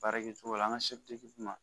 Baara kɛcogo la an ka d'u ma